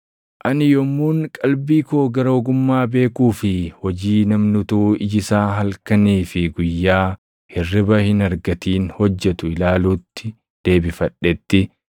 Ani yommuun qalbii koo gara ogummaa beekuu fi hojii namni utuu iji isaa halkanii fi guyyaa hirriba hin argatin hojjetu ilaaluutti deebifadhetti,